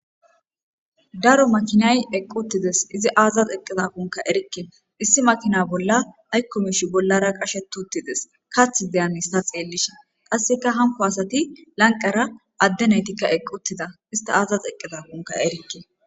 Daro makinay eqquttides izi aazaz eqqiza kunka erikke issi makina bolla haykko mish bollara qashetuttides kathi deyanista xeellishe qasseka hanko asati lanqara equttida ista aazaz eqqiza kunka erikke.